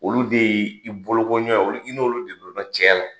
Olu de ye i bolokoɲɔgɔn ye olu i n' olu de donna cɛya la.